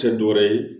Tɛ dɔ wɛrɛ ye